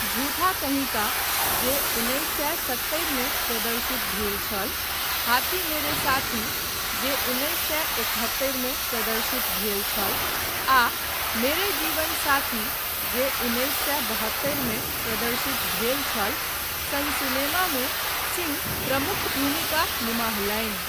झूठा कहीं का जे उन्नैस सए सत्तरि मे प्रदर्शित भेल छल, हाथी मेरे साथी जे उन्नैस सए एकहत्तरि मे प्रदर्शित भेल छल, आ मेरे जीवन साथी जे उन्नैस सए बहत्तरि मे प्रदर्शित भेल छल, सन सिनेमामे सिंह प्रमुख भूमिका निमाहलनि।